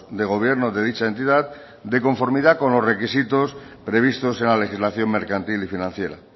de gobierno de dicha entidad de conformidad con los requisitos previstos en la legislación mercantil y financiera